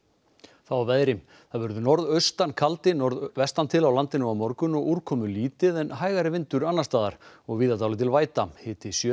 þá að veðri það verður norðaustan kaldi norðvestan til á landinu á morgun og úrkomulítið en hægari vindur annars staðar og víða dálítil væta hiti sjö